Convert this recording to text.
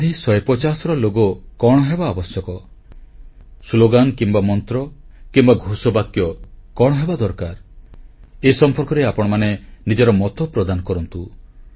ଗାନ୍ଧୀ 150ର ଲୋଗୋ କଣ ହେବା ଆବଶ୍ୟକ ସ୍ଲୋଗାନ କିମ୍ବା ମନ୍ତ୍ର କିମ୍ବା ଘୋଷବାକ୍ୟ କଣ ହେବା ଦରକାର ଏ ସମ୍ପର୍କରେ ଆପଣମାନେ ନିଜର ମତ ପ୍ରଦାନ କରନ୍ତୁ